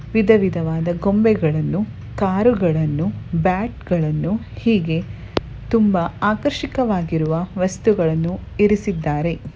ವಿಧವಿಧವಾದ ಗೊಂಬೆಗಳನ್ನು ಕಾರುಗಳನ್ನು ಬ್ಯಾಟ್ಗಳನ್ನು ಹೀಗೆ ತುಂಬಾ ಆಕರ್ಷಕವಾಗಿರುವ ವಸ್ತುಗಳನ್ನು ಇರಿಸಿದ್ದಾರೆ.